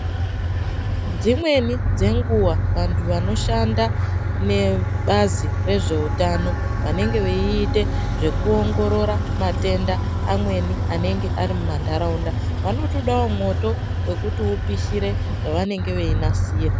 Dzimweni dzenguva vantu vanoshanda nebazi rezveutano. Vanenge veiite zvekuongorora matenda amweni anenge ari mumantaraunda. Vanotodavo mwoto vekuti upishire zvavanenge veinasira.